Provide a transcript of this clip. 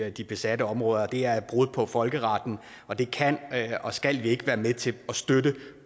i de besatte områder det er et brud på folkeretten og det kan og skal vi ikke være med til at støtte